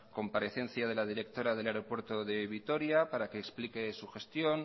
comparecencia de la directora del aeropuerto de vitoria para que explique su gestión